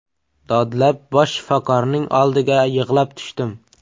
Dodlab, bosh shifokorning oldiga yig‘lab tushdim.